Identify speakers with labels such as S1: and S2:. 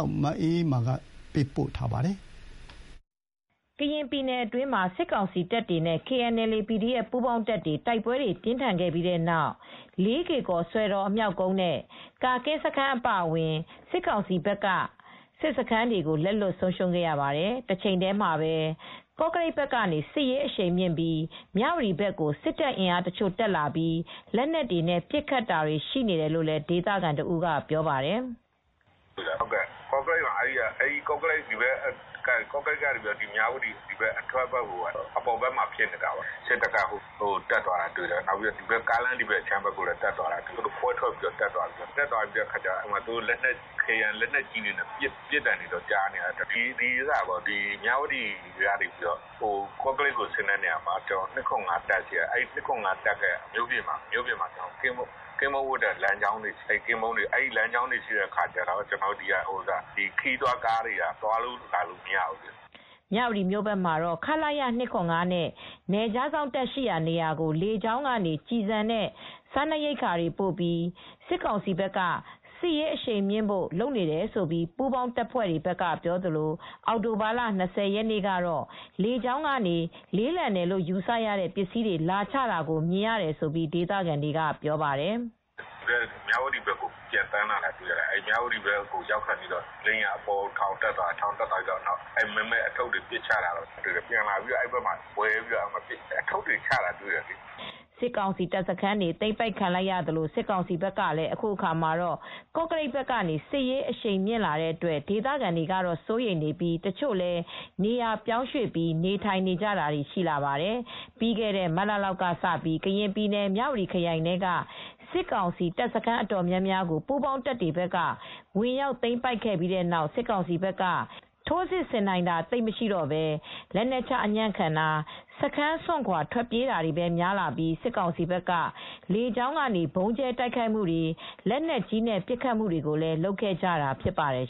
S1: ောက်မအေးအေးမာက သတင်းပေးပို့ထားပါတယ်
S2: ။ ကရင်ပြည်နယ်အတွင်းမှာ စစ်ကောင်စီတပ်တွေနဲ့ KNLA /PDF ပူးပေါင်းတပ်တွေ တိုက်ပွဲပြင်းထန်ခဲ့ပြီး တဲ့နောက် လေးကေ့ကော် စွယ်တော်အမြောက်ကုန်း နဲ့ ကာကင်းစခန်းအပါအဝင် စစ်ကောင်စီဘက်က စစ်စခန်းတွေကို လက်လွှတ်ဆုံးရှုံးခဲ့ရပါတယ်။ တချိန်တည်းမှာပဲ ကော့ကရိတ်ဘက်ကနေ စစ်ရေး အရှန်မြှင့်ပြီး မြ၀တီဘက်ကို စစ်တပ်အင်အားတချို့တက်လာပြီး လက်နက်တွေနဲ့ပစ်ခတ်နေတာတွေ ရှိနေတယ်လို့ ဒေသခံတဦးကပြောပါတယ်။ “
S1: ကော့ကရိတ်ကနေ မြ၀တီအထွက်ဘက်ကို အပေါ်ဘက်မှာ စစ်တပ်ကတက်သွားတာ တွေ့တယ်။ ကားလမ်းဘက်ခြမ်းဘက်ကိုလည်း တက်သွားတာလည်း တွေ့တယ်။ လက်နက်ကြီးတွေပစ်သံလည်း ကြားတယ်။ ကော့ကရိတ်ကနေ မြ၀တီဘက်ကိုထွက်တဲ့လမ်းမှာလည်း ကင်းပုန်းဝပ်တာတွေလည်း ရှိတယ်။ စစ်တပ်လမ်းကြောင်းတွေရှိတယ်။ ကျနော်တို့ အဲဒီဘက်တွေကိုတော့ ခရီးသွားတွေ ကားတွေက သွားလာလို့မသွားရဲကြတော့ဘူး။
S2: ” မြ၀တီမြို့ဘက်မှာတော့ ခလရ ၂၇၅ နဲ့နယ်ခြားစောင့်တပ်ရှိရာနေရာကို လေကြောင်းကနေ ကျည်ဆံနဲ့ စားနပ်ရိက္ခာတွေပို့ပြီး စစ်ကောင်စီက စစ်ရေးအရှိန်မြှင့်ဖို့လုပ်နေတယ်လို့ ပူးပေါင်းတပ်တွေဘက်က ပြောသလို အောက်တိုဘာလ ၂၀ ရက်နေ့ကတော့ လေကြောင်းကနေ လေးလံတယ်လို့ယူဆရတဲ့ ပစ္စည်းတွေလာချတာ မြင်ရတယ်လို့လည်း ဒေသခံတွေကပြောပါတယ်။
S1: “မြ၀တီဘက်ကို ပျံသန်းလာတာတွေ တွေ့ရတယ်။ မြ၀တီဘက်ကိုရောက်ခါနီးမှာ လေယာဉ်က အပေါ်ကိုထောင်တက်ပြီးတော့ မည်းမည်းအထုတ်တွေ ပစ်ချတာတွေ့တယ်။ လေယာဉ်ဝဲပြီး အထုတ်တွေချတာတွေ့တယ်။”
S2: စစ်ကောင်စီတပ်စခန်းတွေ သိမ်းပိုက်ခံရသလို စစ်ကောင်စီဘက်ကလည်း အခုအခါမှာ ကော့ကရိတ် ဘက်ကနေ စစ်ရေးအရှိန်မြှင့်လာတဲ့အတွက် ဒေသခံတွေက စိုးရိမ်နေပြီးတချို့လည်း နေရာပြောင်းရွှေ့ ပြီး နေထိုင်နေကြသူတွေလည်းရှိလာပါတယ်။ ပြီးခဲ့တဲ့မတ်လလောက်ကစပြီး ကရင်ပြည်နယ် မြ၀တီ ခရိုင်ထဲက စစ်ကောင်စီတပ်စခန်းအတော်များများကို ပူးပေါင်းတပ်တွေက ဝင်ရောက်သိမ်းပိုက်ခဲ့ပြီး တဲ့နောက် စစ်ကောင်စီဘက်က ခြေလျင်တပ်တွေက ထိုးစစ်ဆင်နိုင်တာသိပ်မရှိတော့ဘဲ လက်နက်ချ အညံ့ခံတာ၊ စခန်းစွန့်ခွါထွက်ပြေးတာတွေပဲများလာပြီး စစ်ကောင်စီဘက်က လေကြောင်းကနေ ဗုံးကြဲတိုက်ခိုက်တာနဲ့ လက်နက်ကြီးတွေနဲ့ပဲ ပစ်ခတ်လာနေခဲ့ကြတာဖြစ်ပါတယ်